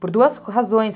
Por duas razões.